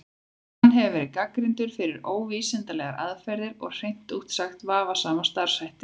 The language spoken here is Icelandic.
Hann hefur verið gagnrýndur fyrir óvísindalegar aðferðir og hreint út sagt vafasama starfshætti.